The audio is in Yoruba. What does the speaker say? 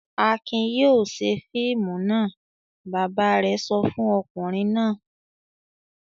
"Akin yóò ṣe fíìmù náà!" Bàbá rẹ̀ sọ fún ọkùnrin náà.